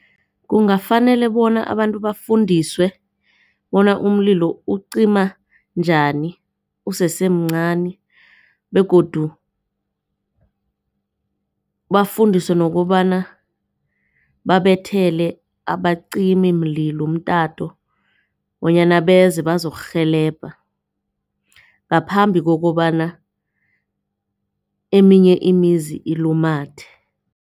Kungafanele bona abantu bafundiswe bona umlilo ucima njani usesemncani begodu bafundiswe nokobana babethele abacimimlilo umtato bonyana beze bazokurhelebha ngaphambi kokobana eminye imizi ilumathe.